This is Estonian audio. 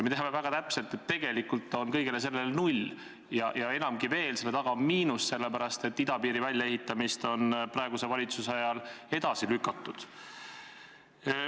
Me teame väga täpselt, et tegelikult on kõigele sellele ette nähtud summa null, enamgi veel, seal taga on miinus, sest idapiiri väljaehitamist on praeguse valitsuse ajal edasi lükatud.